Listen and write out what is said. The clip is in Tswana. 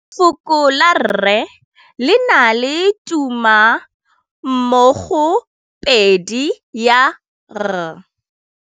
Lefoko la rre, le na le tumammogôpedi ya, r.